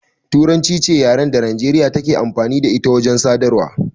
Turanci ce yaran da Nijeriya take amfani da ita wajen sadarwa